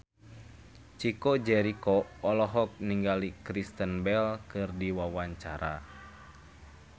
Chico Jericho olohok ningali Kristen Bell keur diwawancara